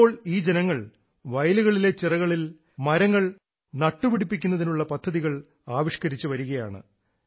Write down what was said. ഇപ്പോൾ ഈ ജനങ്ങൾ വയലുകളിലെ ചിറകളിൽ മരങ്ങൾ നട്ടുപിടിപ്പിക്കുന്നതിനുള്ള പദ്ധതികൾ ആവിഷ്ക്കരിച്ചു വരികയാണ്